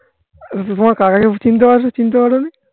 কাকা কে চিনতে চিনতে পারোনি?